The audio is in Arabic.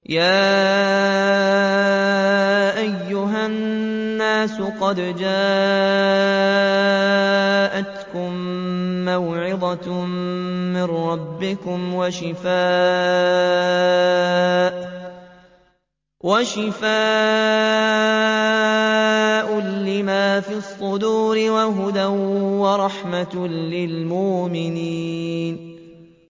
يَا أَيُّهَا النَّاسُ قَدْ جَاءَتْكُم مَّوْعِظَةٌ مِّن رَّبِّكُمْ وَشِفَاءٌ لِّمَا فِي الصُّدُورِ وَهُدًى وَرَحْمَةٌ لِّلْمُؤْمِنِينَ